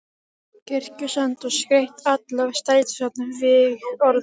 Kirkjusand og skreytt alla strætisvagnana vígorðum.